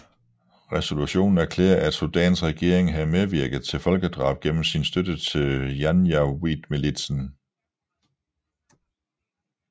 Resolutionen erklærede at Sudans regering havde medvirket til folkedrab gennem sin støtte til janjaweedmilitsen